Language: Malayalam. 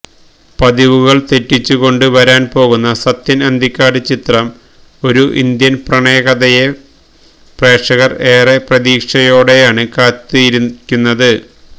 പതിവുകള് തെറ്റിച്ചുകൊണ്ട് വരാന് പോകുന്ന സത്യന് അന്തിക്കാട് ചിത്രം ഒരു ഇന്ത്യന് പ്രണയകഥയെ പ്രേക്ഷകര് ഏറെ പ്രതീക്ഷകളോടെയാണ് കാത്തിരിക്കുന്നത്